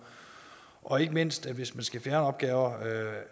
og ikke mindst hvis man skal fjerne opgaver